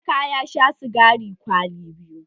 Emeka ya sha sigari kwali biyu.